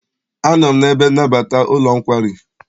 Anọ m n'ebe nnabata n'ụlọ nkwari.